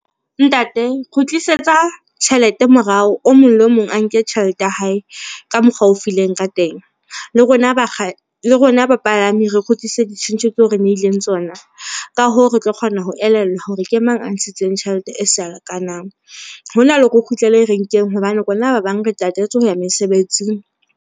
Ntate, kgutlisetsa tjhelete morao mong le mong a nke tjhelete ya hae ka mokgwa o fileng ka teng. Le rona bapalami re kgutlise di tjhentjhe ke ho re nehileng tsona. Ka hoo, re tlo kgona ho elellwa hore ke mang a ntshitseng tjhelete e sa lekanang hona le hore o kgutlele renkeng. Hobane rona ba bang re tatetse ho ya mesebetsing